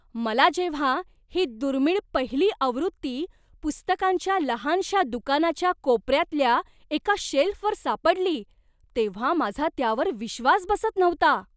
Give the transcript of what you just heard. मला जेव्हा ही दुर्मिळ पहिली आवृत्ती पुस्तकांच्या लहानशा दुकानाच्या कोपऱ्यातल्या एका शेल्फवर सापडली तेव्हा माझा त्यावर विश्वास बसत नव्हता.